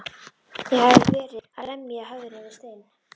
Ég hafði verið að lemja höfðinu við stein.